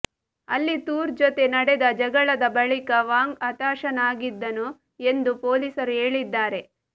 ಅಲ್ಲಿ ತೂರ್ ಜೊತೆ ನಡೆದ ಜಗಳದ ಬಳಿಕ ವಾಂಗ್ ಹತಾಶನಾಗಿದ್ದನು ಎಂದು ಪೊಲೀಸರು ಹೇಳಿದ್ದಾರೆ